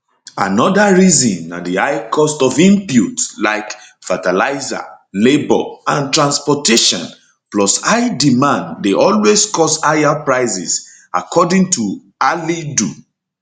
anoda reason na di high cost of inputs like fertilizer labor and transportation plus high demand dey always cause higher prices according to halidu